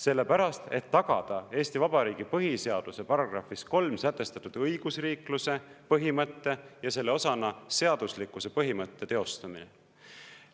Sellepärast, et tagada Eesti Vabariigi põhiseaduse §-s 3 sätestatud õigusriikluse põhimõtte ja selle osana seaduslikkuse põhimõtte teostamine.